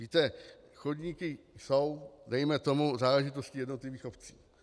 Víte, chodníky jsou dejme tomu záležitostí jednotlivých obcí.